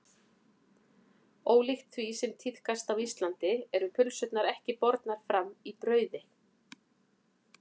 Ólíkt því sem tíðkast á Íslandi eru pylsurnar ekki bornar fram í brauði.